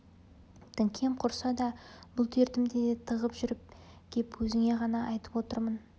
діңкем құрыса да бұл дертімді де тығып жүріп кеп өзіңе ғана айтып отырмын